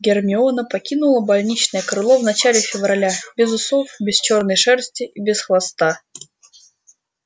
гермиона покинула больничное крыло в начале февраля без усов без чёрной шерсти и без хвоста